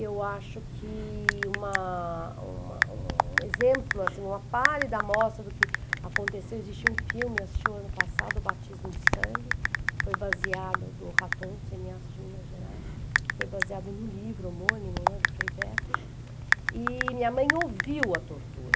Eu acho que uma uma um exemplo, assim, uma pálida amostra do que aconteceu, existiu um filme, eu assisti o ano passado, O Batismo de Sangue, foi baseado, do Raton, cineasta de Minas Gerais, foi baseado no livro homônimo do Frei Betto, e minha mãe ouviu a tortura.